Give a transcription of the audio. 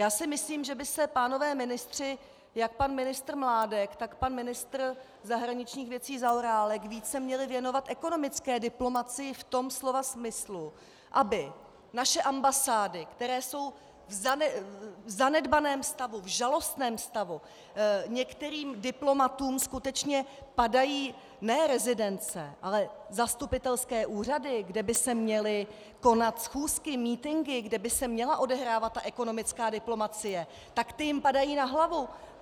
Já si myslím, že by se pánové ministři, jak pan ministr Mládek, tak pan ministr zahraničních věcí Zaorálek, více měli věnovat ekonomické diplomacii v tom slova smyslu, aby naše ambasády, které jsou v zanedbaném stavu, v žalostném stavu, některým diplomatům skutečně padají ne rezidence, ale zastupitelské úřady, kde by se měly konat schůzky, mítinky, kde by se měla odehrávat ta ekonomická diplomacie, tak ty jim padají na hlavu.